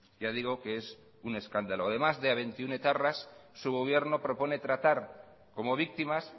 ya digo que es un escándalo además de a veintiuno etarras su gobierno propone tratar como víctimas